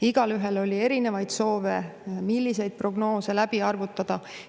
Igaühel oli erinevaid soove, milliseid prognoose läbi arvutada.